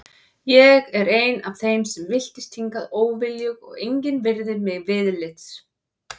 Ég er ein af þeim sem villtist hingað óviljug og engin virðir mig viðlits.